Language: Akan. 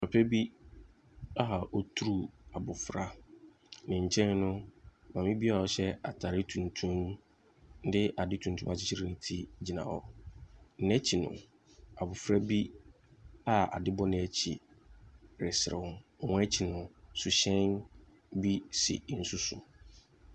Papa bi a ɔreturu abɔfra. Ne nkyɛn no, maame bi a ɔhyɛ atare tuntum de ade tuntum akyekyere ne ti gyina hɔ. N'akyi no abofra bi a ade bɔ n'akyi reserew. Wɔn akyi no, suhyɛn bi si nsu so.